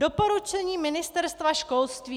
Doporučení Ministerstva školství.